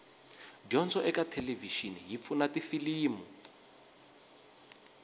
dyondzo ekathelevishini yipfuna tifilimu